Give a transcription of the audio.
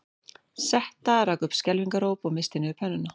Setta rak upp skelfingaróp og missti niður pönnuna